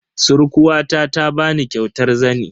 Surkuwata ta bani kyautar zani.